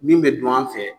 Min bɛ dun an fɛ yan